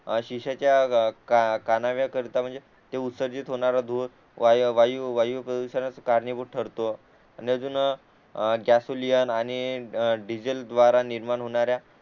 शीशाच्या कानाव्याकर्ता म्हणजे ते उत्सर्जित होणारा धूर वायू वायू प्रदूषणास कारणीभूत ठरतो आणि अजून गॅसोलीयन आणि आणि डिझल द्वारा निर्माण होणाऱ्या